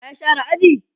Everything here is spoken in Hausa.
wa ya share aji?